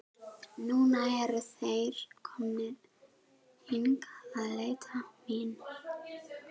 Núna eru þeir komnir hingað að leita mín.